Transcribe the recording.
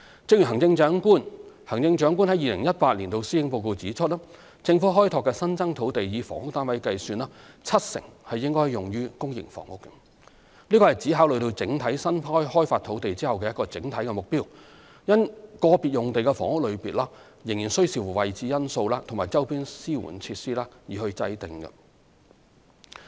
正如行政長官於2018年的施政報告指出，政府開拓的新增土地，以房屋單位計算，七成應用於公營房屋，此乃指考慮整體新開發土地後的一個整體目標，因個別用地的房屋類別仍需視乎位置因素及周邊支援設施等而定。